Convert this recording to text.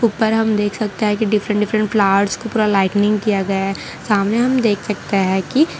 ऊपर हम देख सकते हैं कि डिफरेंट डिफरेंट फ्लार्स को पूरा लाइटनिंग किया गया है सामने हम देख सकते हैं कि --